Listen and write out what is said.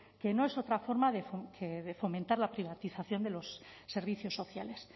que no es otra forma que de fomentar la privatización de los servicios sociales